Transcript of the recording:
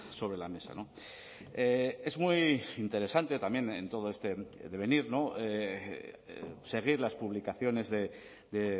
sobre la mesa es muy interesante también en todo este devenir seguir las publicaciones de